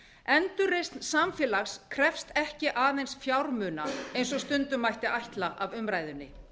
endurreisn samfélags krefst ekki aðeins fjármuna eins og stundum mætti ætla af umræðunni